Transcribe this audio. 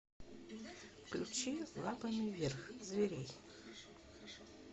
включи лапами вверх зверей